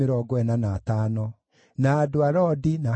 na Hanani, na Gideli, na Gaharu,